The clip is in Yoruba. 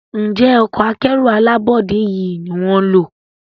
Njé Ọkọ̀ akẹ́rù alábọ́dé yi ní wón ló?